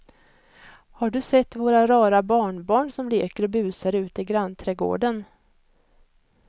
Har du sett våra rara barnbarn som leker och busar ute i grannträdgården!